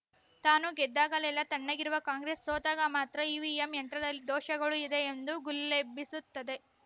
ತಾನು ಗೆದ್ದಾಗಲೆಲ್ಲ ತಣ್ಣಗಿರುವ ಕಾಂಗ್ರೆಸ್‌ ಸೋತಾಗ ಮಾತ್ರ ಇವಿಎಂ ಯಂತ್ರದಲ್ಲಿ ದೋಷಗಳು ಇದೆ ಎಂದು ಗುಲ್ಲೆಬ್ಬಿಸುತ್ತದೆ